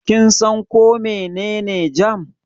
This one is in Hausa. Kin san ko mene ne jam?